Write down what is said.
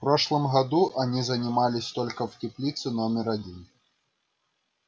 в прошлом году они занимались только в теплице номер один